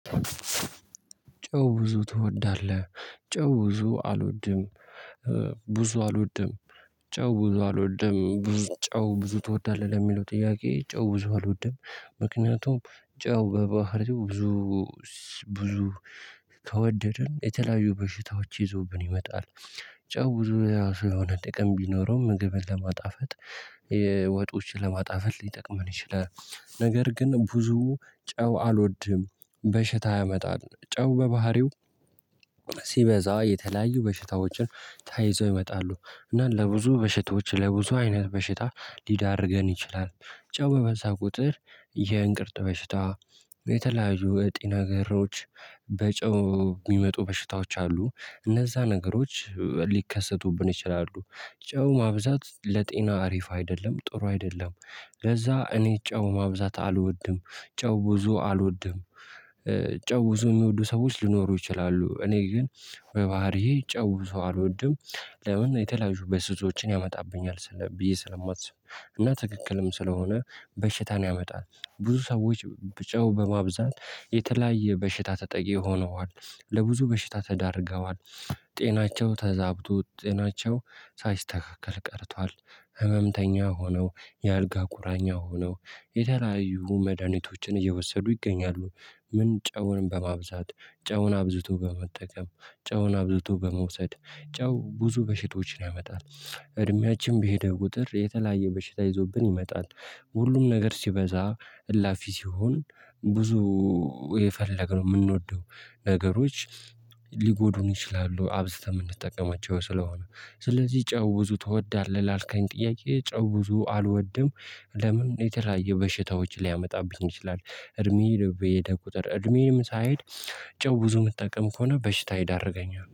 ጨው ብዙ ትወዳለህ? ጨው ብዙ አልወድም። ብዙ አልወድም። ጨው ብዙ አልወድም። ብዙ ጨው ብዙ ትወዳለህ? ለሚለው ጥያቄ ጨው ብዙ አልወድም። ምክንያቱም ጨው በባህሪው ብዙ ብዙ ከወደድን የተለያዩ በሽታዎች ይዞብን ይመጣል። ጨው ብዙ የሆነ ጥቅም ቢኖረውም ምግብን ለማጣፈጥ ወጦችን ለማጣፈጥ ሊጠቅመን ይችላል። ነገር ግን ብዙ ጨው አልወድም። በሽታ ያመጣል። ጨው በባህሪው ሲበዛ የተለያዩ በሽታዎችን ተያይዘው ይመጣሉ። እና ለብዙ በሽታዎች ለብዙ አይነት በሽታ ሊዳርገን ይችላል። ጨው በበዛ ቁጥር የእንቅርት በሽታ የተለያዩ እጢ ነገሮች በጨው ሚመጡ በሽታዎች አሉ። እነዛ ነገሮች ሊከሰቱብን ይችላሉ። ጨው ማብዛት ለጤና አሪፍ አይደለም። ጥሩ አይደለም። ለዛ እኔ ጨው ማብዛት አልወድም። ጨው ብዙ አልወድም ጨው ብዙ የሚወዱ ሰዎች ሊኖሩ ይችላሉ። እኔ ግን በባህሪዬ ጨው ብዙ አልወድም። ለምን የተለያዩ በሽታዎችን ያመጣብኛል ብዬ ስለማስብ። እና ትክክልም ስለሆነ በሽታን ያመጣል። ብዙ ሰዎች ጨው በማብዛት የተለያየ በሽታ ተጠቂ ሆነዋል። ለብዙ በሽታ ተዳርገዋል። ጤናቸው ተዛብቶ ጤናቸው ሳይስተካከል ቀርቷል። ህመምተኛ ሆነው የአልጋ ቁራኛ ሆነው የተለያዩ መድሃኒቶችን እየወሰዱ ይገኛሉ። ምን ጨውን በማብዛት ጨውን አብዝቶ በመጠቀም ጨውን አብዝቶ በመውሰድ ጨው ብዙ በሽቶችን ያመጣል። እድሜያችን በሄደ ቁጥር የተለያየ በሽታ ይዞብን ይመጣል። ሁሉም ነገር ሲበዛ እላፊ ሲሆን ብዙ የፈለግነው የምንወደው ነገሮች ሊጎዱን ይችላሉ። አብዝተን የምንጠቀማቸው ስለሆነ። ስለዚህ ጨው ብዙ ትወዳለህ? ላልከኝ ጥያቄ ጨው ብዙ አልወድም። ለምን የተለያየ በሽታዎችን ሊያመጣብኝ ይችላል። እድሜዬ በሄደ ቁጥር እድሜዬም ሳይሄድ ጨው ብዙ የምትጠቀም ከሆነ ለበሽታ ይዳርገኛል።